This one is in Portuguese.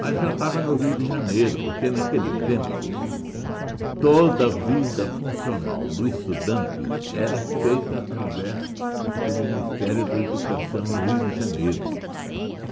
Mas já estava no Rio de Janeiro, porque naquele tempo toda a vida funcional do estudante era feita através do Ministério da Educação no Rio de Janeiro.